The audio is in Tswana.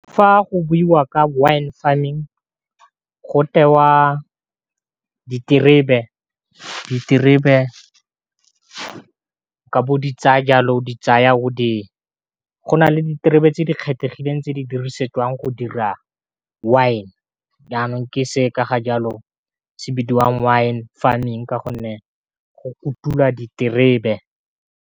Fa go buiwa ka Wine Farming go tewa diterebe ka bo di tsaya jalo di tsaya o di go nale diterebe tse di kgethegileng tse di dirisetswang go dira wine jaanong ke se ka ga jalo se bidiwang Wine Farming ka gonne go kutula diterebe.